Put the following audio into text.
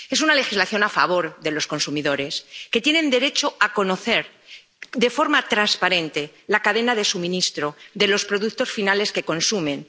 Es una legislación a favor de los consumidores, que tienen derecho a conocer de forma transparente la cadena de suministro de los productos finales que consumen.